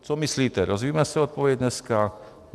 Co myslíte, dozvíme se odpověď dneska?